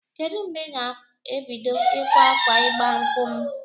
Kedụ mgbe ị ga-ebido ịkwa akwa ịgba nkwụ m?